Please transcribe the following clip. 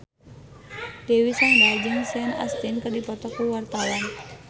Dewi Sandra jeung Sean Astin keur dipoto ku wartawan